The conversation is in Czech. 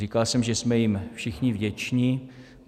Říkal jsem, že jsme jim všichni vděčni.